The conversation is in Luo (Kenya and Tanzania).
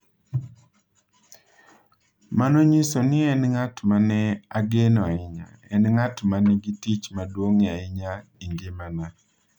Mano nyiso ni en ng’at ma ne ageno ahinya, en ng’at ma nigi tich maduong’ ahinya e ngimana.